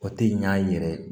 O tɛ ɲ'an ye yɛrɛ